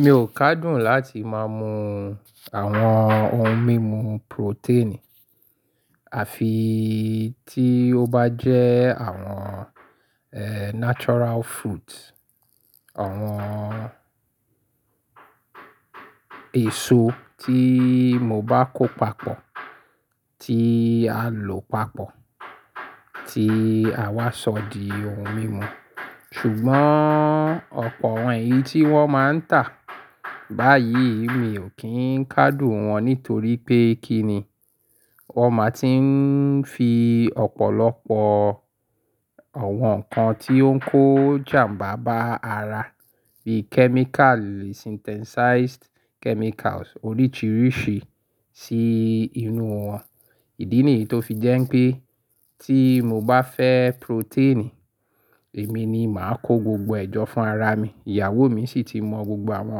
Mi ò kádùn láti má mú àwọn ohun mímu protein. Àfi tí ó bá jẹ́ àwọn, eeh, natural fruit, àwọn èso tí mo bá kó papọ̀, tí a lọ̀ papọ̀, tí àwa ṣọ di ohun mímu. Ṣùgbọ́n ọ̀pọ̀ àwọn èyí tí wọ́n máa ń tà báyìí, mi ò kí ń kádùn wọn nítorí pé kí ni? Wọ́n máa ti ń fi ọ̀pọ̀lọpọ̀ àwọn nǹkan tí ó ń kó jàmbá bá ara bí chemical synthesized chemicals oríṣiríṣi sí inú wọn. Ìdí nìyí tó fi jẹ́ pé tí mo bá fẹ́ protein, èmi ni màá kó gbogbo ẹ̀jọ́ fún ara mi. Ìyàwó mi sì ti mọ gbogbo àwọn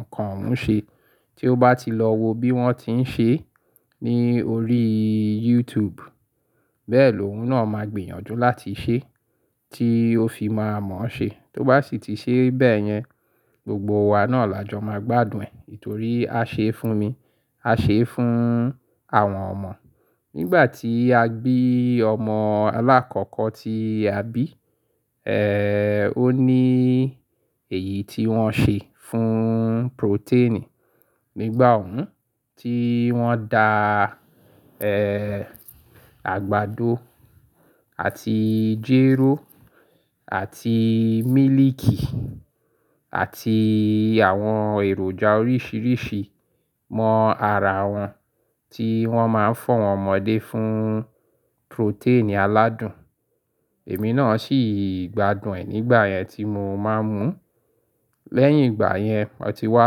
nǹkan òun ṣe. Tí ó bá ti lọ wo bí wọ́n ti ń ṣe é ní orí YouTube, bẹ́ẹ̀ lóun náà máa gbìyànjú láti ṣe é tí ó fi máa mọ̀ ọ́ ṣe. Tó bá sì ti ṣe é bẹ́ẹ̀ yẹn, gbogbo wa náà làjọ máa gbádùn ẹ̀ nítorí a ṣe é fún mi, a ṣe é fún àwọn ọmọ. Nígbà tí a bí ọmọ aláàkọ́kọ́ tí a bí, eeh, ó ní èyí tí wọ́n ṣe fún protein. Nígbà òun tí wọ́n dá, eeh, àgbàdo àti jéró àti mílìkì àti àwọn èròjà oríṣiríṣi mọ ara wọn tí wọ́n máa ń fún àwọn ọmọdé fún protein aládùn. Èmi náà sì gbádùn ẹ̀ nígbà yẹn tí mo máa ń mú. Lẹ́yìn ìgbà yẹn mo ti wá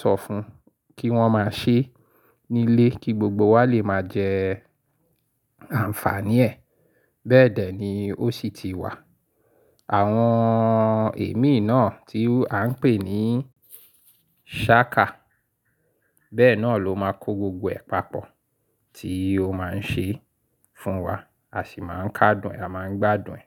sọ fún un kí wọ́n máa ṣe é nílé kí gbogbo wa lè máa jẹ́ àǹfààní ẹ̀. Bẹ́ẹ̀dẹ́ ni ó sì ti wà. Àwọn èémí náà tí à ń pè ní sháka. Bẹ́ẹ̀ náà ló máa kó gbogbo ẹ̀ papọ̀ tí ó máa ń ṣe é fún wa. A sì máa ń kádùn, a máa ń gbádùn ẹ̀